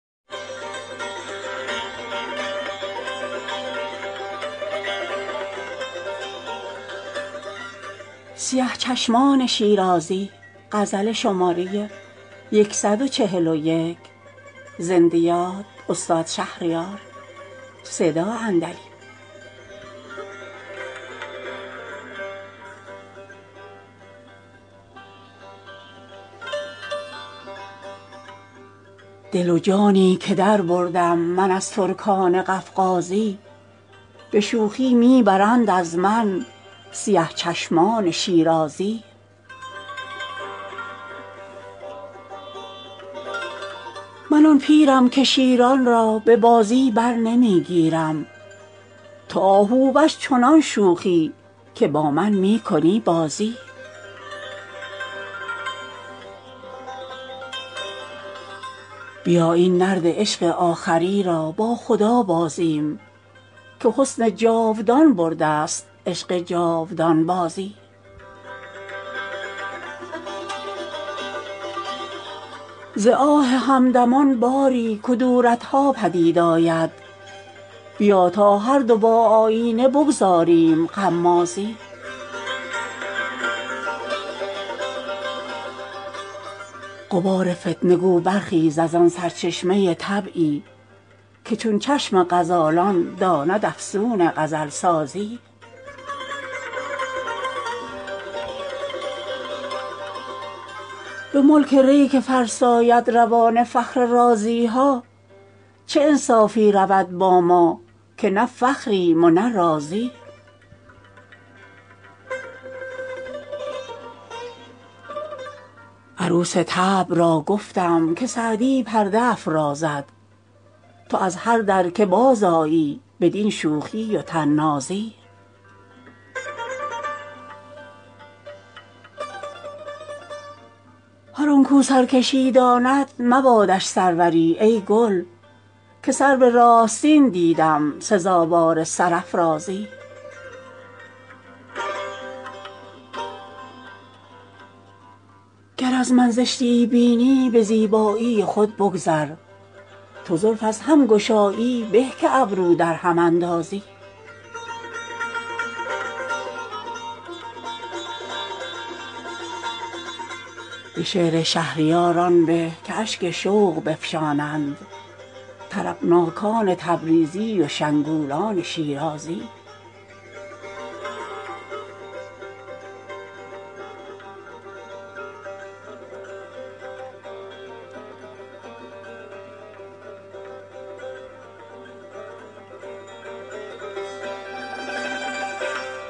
دل و جانی که دربردم من از ترکان قفقازی به شوخی می برند از من سیه چشمان شیرازی من آن پیرم که شیران را به بازی برنمی گیرم تو آهووش چنان شوخی که با من می کنی بازی کمان آسمان بین و سمند سرکشی پی کن که با تیر قضا بازی ست بر صید حرم تازی بیا این نرد عشق آخری را با خدا بازیم که حسن جاودان بردست عشق جاودان بازی به هر بامی پریدن چشم عفت خیره می سازد کبوتر آشیان بازد از این آشفته پروازی خزان گل نوای بلبلان را در گلو بندد که بوم است آنکه با زاغ و زغن داند هم آوازی ز آه همدمان باری کدورت ها پدید آید بیا تا هردو با آیینه بگذاریم غمازی غبار فتنه بگو برخیز از آن سرچشمه طبعی که چون چشم غزالان داند افسون غزل سازی به ملک ری که فرساید روان فخر رازی ها چه انصافی رود با ما که نه فخریم و نه رازی عروس طبع را گفتم که سعدی پرده افرازد تو از هر در که بازآیی بدین شوخی و طنازی فشان از برگ گل شبنم که لاف شعر در شیراز بساط پیله ور را ماند و بازار خرازی هر آنکو سرکشی داند مبادش سروری ای گل که سرو راستین دیدم سزاوار سرافرازی گر از من زشتیی بینی به زیبایی خود بگذر تو زلف از هم گشایی به که ابرو در هم اندازی به شعر شهریار آن به که اشک شوق بفشانند طربناکان تبریزی و شنگولان شیرازی